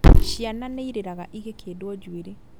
Ciana nĩirĩraga igĩkĩndwo njuĩrĩ